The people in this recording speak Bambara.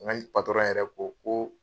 N yɛrɛ ko ko